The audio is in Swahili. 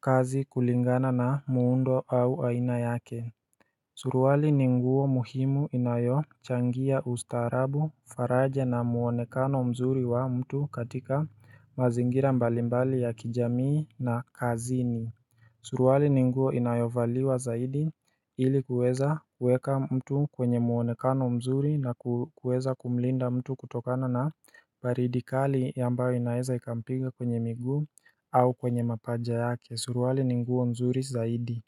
kazi kulingana na muundo au aina yake Suruwali ni nguo muhimu inayochangia ustaarabu faraja na muonekano mzuri wa mtu katika mazingira mbalimbali ya kijamii na kazini. Suruali ni nguo inayovaliwa zaidi ili kuweza kueka mtu kwenye muonekano mzuri na kuweza kumlinda mtu kutokana na baridi kali yambao inaeza ikampiga kwenye miguu au kwenye mapanja yake suruali ni nguo nzuri zaidi.